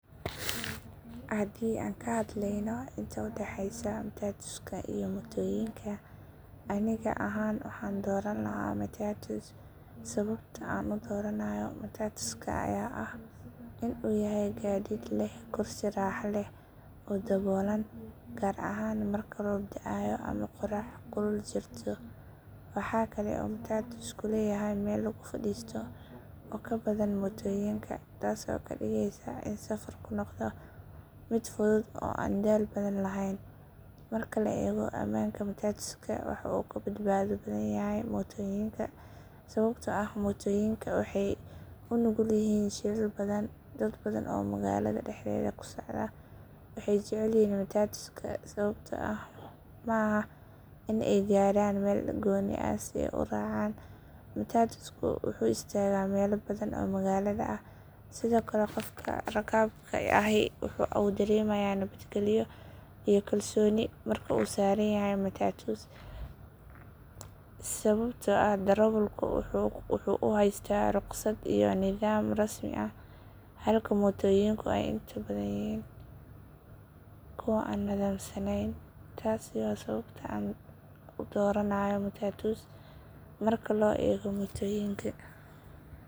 Haddii aan ka hadlayno intaa u dhaxaysa matatuska iyo mootooyinka, aniga ahaan waxaan dooran lahaa matatus. Sababta aan u dooranayo matatuska ayaa ah in uu yahay gaadiid leh kursi raaxo leh oo daboolan, gaar ahaan marka roob da'ayo ama qorax kulul jirto. Waxa kale oo matatusku leeyahay meel lagu fadhiisto oo ka badan mootooyinka, taas oo ka dhigaysa in safarku noqdo mid fudud oo aan daal badan lahayn. Marka la eego ammaanka, matatusku waxa uu ka badbaado badan yahay mootooyinka, sababtoo ah mootooyinka waxay u nugul yihiin shilal badan. Dad badan oo magaalada dhexdeeda ku socda waxay jecel yihiin matatuska sababtoo ah maaha in ay gaadhaan meel gooni ah si ay u raacaan, matatusku wuxuu istaagaa meelo badan oo magaalada ah. Sidoo kale, qofka rakaabka ahi waxa uu dareemayaa nabadgalyo iyo kalsooni marka uu saaran yahay matatus, sababtoo ah darawalku waxa uu haystaa ruqsad iyo nidaam rasmi ah. Halka mootooyinku ay inta badan yihiin kuwo aan nidaamsanayn. Taasi waa sababta aan dooranayo matatus marka loo eego mootooyinka.